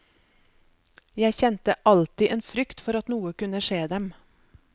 Jeg kjente alltid en frykt for at noe kunne skje dem.